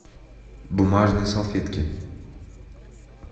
бумажные салфетки